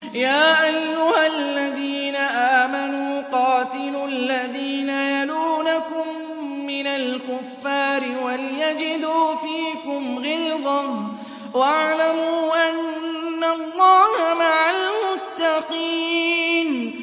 يَا أَيُّهَا الَّذِينَ آمَنُوا قَاتِلُوا الَّذِينَ يَلُونَكُم مِّنَ الْكُفَّارِ وَلْيَجِدُوا فِيكُمْ غِلْظَةً ۚ وَاعْلَمُوا أَنَّ اللَّهَ مَعَ الْمُتَّقِينَ